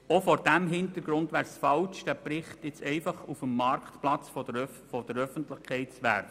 Auch vor diesem Hintergrund wäre es falsch, diesen Bericht nun einfach auf den Marktplatz der Öffentlichkeit zu werfen.